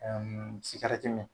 Ɛɛ mi.